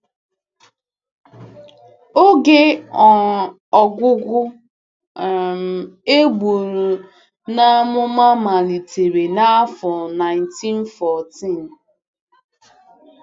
Oge um ọgwụgwụ” um e buru n’amụma malitere n’afọ nineteen fourteen.